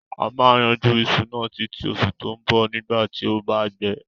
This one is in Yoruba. A ma yanjú isu náà títí osù to bo nígbàtí o ba gbẹ